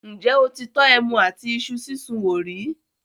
ǹjẹ́ o ti tọ́ “ẹmu àti Isu sísun” wò rí?